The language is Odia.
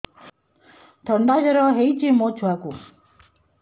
ଥଣ୍ଡା ଜର ହେଇଚି ମୋ ଛୁଆକୁ